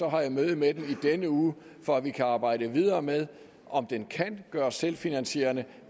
har jeg møde med dem i denne uge for at vi kan arbejde videre med om den kan gøres selvfinansierende